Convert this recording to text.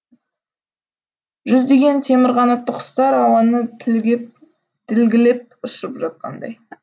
жүздеген темір қанатты құстар ауаны тілгілеп ұшып жатқандай